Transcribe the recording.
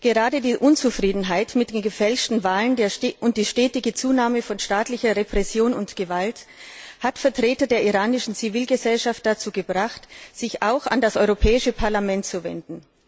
Gerade die Unzufriedenheit mit den gefälschten Wahlen und die stetige Zunahme von staatlicher Repression und Gewalt hat Vertreter der iranischen Zivilgesellschaft dazu gebracht sich auch an das Europäische Parlament zu wenden.